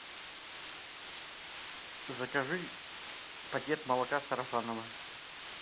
закажи пакет молока сарафаново